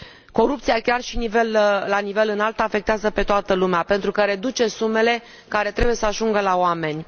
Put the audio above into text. Corupția, chiar și la nivel înalt, afectează pe toată lumea pentru că reduce sumele care trebuie să ajungă la oameni.